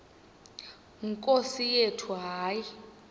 nkosi yethu hayi